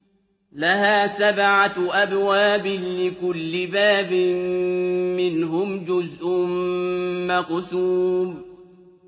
لَهَا سَبْعَةُ أَبْوَابٍ لِّكُلِّ بَابٍ مِّنْهُمْ جُزْءٌ مَّقْسُومٌ